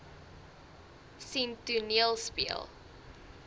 sien toneel speel